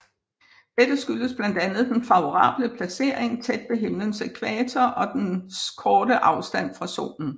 Dette skyldes blandt andet den favorable placering tæt ved himlens ækvator og dens korte afstand fra Solen